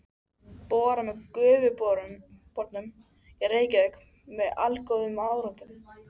Borað með Gufubornum í Reykjavík með allgóðum árangri.